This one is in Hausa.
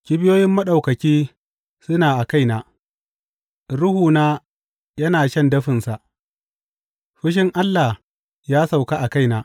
Kibiyoyin Maɗaukaki suna a kaina, ruhuna yana shan dafinsa; fushin Allah ya sauka a kaina.